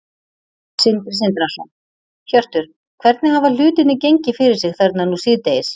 Sindri Sindrason: Hjörtur, hvernig hafa hlutirnir gengið fyrir sig þarna nú síðdegis?